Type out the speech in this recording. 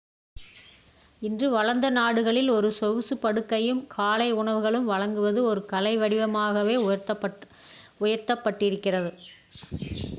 இன்று வளர்ந்த நாடுகளில் ஒரு சொகுசு படுக்கையும் காலை உணவுகளும் வழங்குவது ஒரு கலை வடிவமாகவே உயர்த்தப் பட்டிருக்கிறது